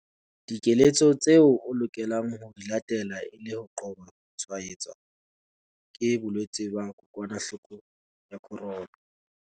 Dikeletso tseo o lokelang ho di latela e le ho qoba ho tshwaetswa ke bolwetse ba kokwanahloko ya corona.